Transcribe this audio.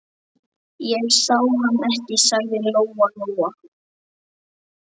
Ég sá hann ekki, sagði Lóa-Lóa.